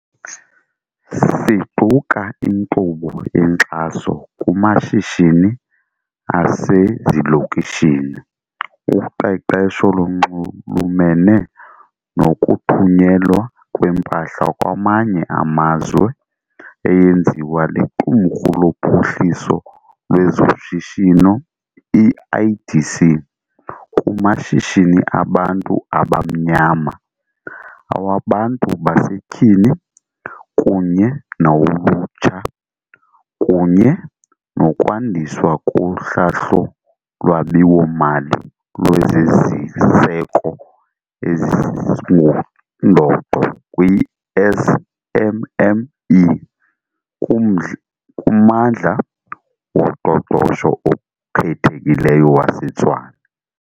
Siquka inkqubo yenkxaso kumashishini asezilokishini, uqeqesho olunxulumene nokuthunyelwa kwempahla kwamanye amazwe eyenziwa liQumrhu loPhuhliso lwezoShishino i-IDC kumashishini abantu abamnyama, awabantu basetyhini kunye nawolutsha, kunye nokwandiswa kohlahlo lwabiwo-mali lwezi ziseko ezingundoqo kwii-SMME kuMmandla woQoqosho oKhethekileyo waseTshwane.